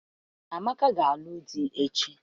Amaka ga-alụ di echi.